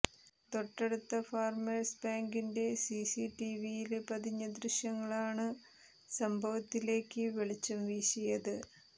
തൊട്ടടുത്ത ഫാര്മേഴ്സ് ബാങ്കിന്റെ സിസി ടിവിയില് പതിഞ്ഞ ദൃശ്യങ്ങളാണ് സംഭവത്തിലേക്ക് വെളിച്ചം വീശിയത്